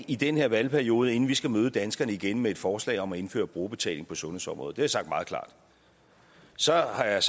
i den her valgperiode inden vi skal møde danskerne igen med et forslag om at indføre brugerbetaling på sundhedsområdet jeg sagt meget klart så har jeg